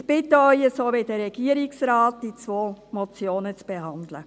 Ich bitte Sie, die beiden Motionen, wie vom Regierungsrat empfohlen, zu behandeln.